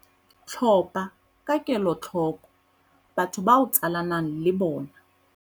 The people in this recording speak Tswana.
Tlhopha ka kelotlhoko batho ba o tsalanang le bona.